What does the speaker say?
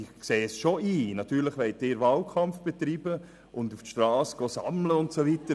Ich sehe es schon ein, natürlich wollen Sie Wahlkampf betreiben, auf die Strasse Unterschriften sammeln gehen und so weiter.